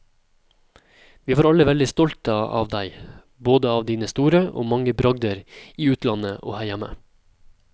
Vi var alle veldig stolte av deg, både av dine store og mange bragder i utlandet og her hjemme.